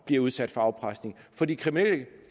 blive udsat for afpresning for de kriminelle